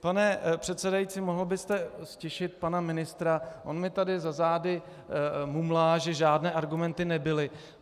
Pane předsedající, mohl byste ztišit pana ministra, on mi tady za zády mumlá, že žádné argumenty nebyly.